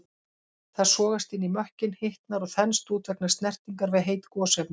Það sogast inn í mökkinn, hitnar og þenst út vegna snertingar við heit gosefni.